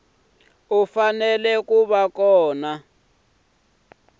fanele ku va kona ku